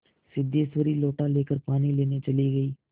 सिद्धेश्वरी लोटा लेकर पानी लेने चली गई